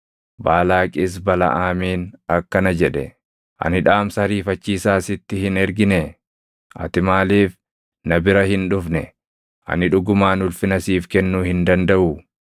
Baalaaqis Balaʼaamiin akkana jedhe; “Ani dhaamsa ariifachiisaa sitti hin erginee? Ati maaliif na bira hin dhufne? Ani dhugumaan ulfina siif kennuu hin dandaʼuu?”